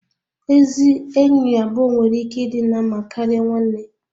Ezi enyi abụọ nwere ike ịdị na mma karịa nwanne